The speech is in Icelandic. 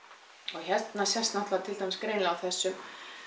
og hérna sést náttúrulega til dæmis greinilega á þessum